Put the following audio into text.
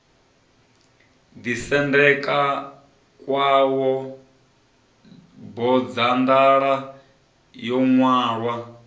ḓisendeka khawo bodzanḓala yo ṅwalwa